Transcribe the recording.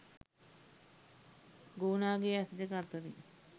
ගෝනාගේ ඇස් දෙක අතරින්